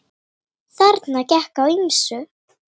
Þarna gekk á ýmsu.